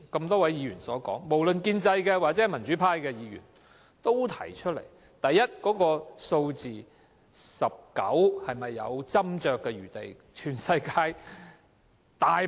多位議員，包括建制派及民主派議員剛才提到，第一 ，"19" 這個數字是否有斟酌餘地。